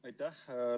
Aitäh!